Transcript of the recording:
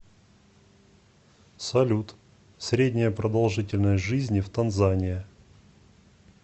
салют средняя продолжительность жизни в танзания